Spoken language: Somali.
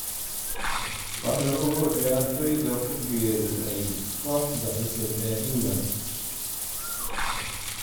Wax ka ogow ciyaartoyda ku biiray kooxda cusub ee England.